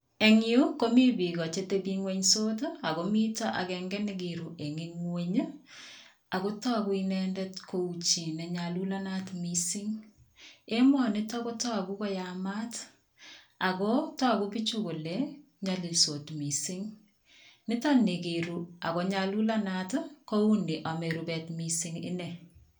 Eng yu komi biiko chetebienw'ensot ako mito akenke nekiru eng ng'uny akotoku inendet kou chi nenyalulanat mising. Emonito kotoku koyamat ako tuku bichu kole nyolilsot mising. Nitonikiru akonyalulanat ko uni ome rubet mising ine.